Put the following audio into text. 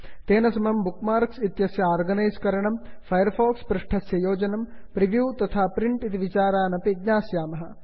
तेन समं bookmarks इत्यस्य आर्गनैस् करणं फैर् फाक्स् पृष्ठस्य योजनं प्रिव्यू तथा प्रिण्ट् इति विचारानपि ज्ञास्यामः